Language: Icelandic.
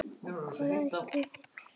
Hvað ætlið þið að kaupa?